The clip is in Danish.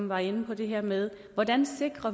var inde på det her med hvordan